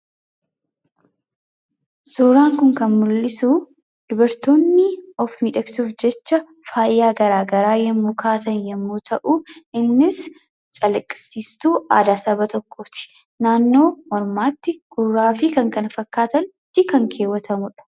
Suuraan kun kan mul'isu, dubartoonni of miidhagsuuf jecha faaya garagaraa yommuu kaa'atan yommuu ta'u, innis calaqisiiistuu aadaa saba tokkooti. Naannoo mormaatti, gurraafi kan kana fakkaatanitti kan keewwatamudha.